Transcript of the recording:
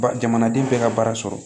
Ba jamanaden bɛɛ ka baara sɔrɔ